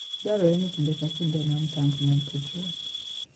Dwarore ni kinde ka kinde onon tanko mag petrol.